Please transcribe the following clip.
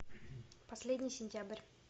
последний сентябрь